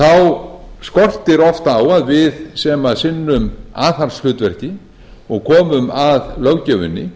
þá skortir oft á að við sem sinnum aðhaldshlutverki og komum að löggjöfinni